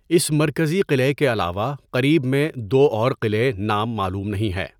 اس مرکزی قلعے کے علاوہ قریب میں دو اور قلعے نام معلوم نہیں ہیں.